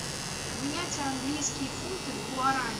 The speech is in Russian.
обменять английские фунты в гуарани